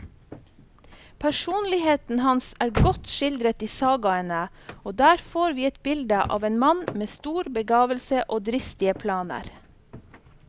Personligheten hans er godt skildret i sagaene, og der får vi et bilde av en mann med stor begavelse og dristige planer.